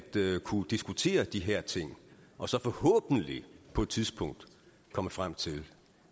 kunne diskutere de her ting og så forhåbentlig på et tidspunkt komme frem til